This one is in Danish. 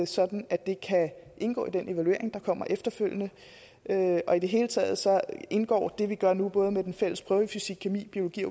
sådan at det kan indgå i den evaluering der kommer efterfølgende og i det hele taget indgår det vi gør nu med den fælles prøve i fysikkemi biologi